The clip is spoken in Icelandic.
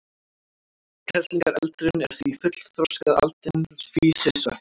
Kerlingareldurinn er því fullþroskað aldin físisveppsins.